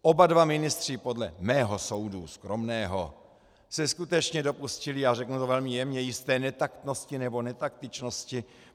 Oba dva ministři podle mého soudu, skromného, se skutečně dopustili, a řeknu to velmi jemně, jisté netaktnosti nebo netaktičnosti.